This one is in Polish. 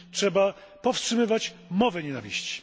Trzeba powstrzymywać mowę nienawiści.